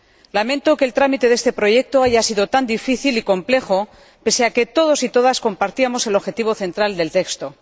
Lamento que el trámite de este proyecto haya sido tan difícil y complejo, pese a que todos y todas compartíamos el objetivo central del texto.